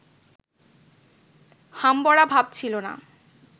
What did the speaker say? হামবড়া ভাব ছিল না